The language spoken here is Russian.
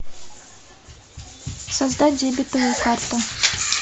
создать дебетовую карту